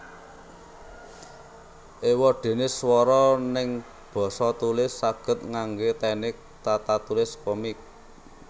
Ewadene swara neng basa tulis saged ngangge teknik tatatulis komik